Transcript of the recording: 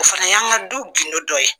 O fana y'an ka du gundo dɔ ye.